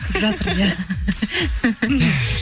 түсіп жатыр иә